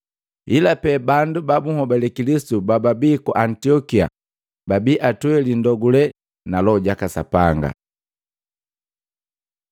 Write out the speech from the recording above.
Ila pee bandu ba bunhobale Kilisitu bababii ku Antiokia babii atweli ndogule na Loho jaka Sapanga.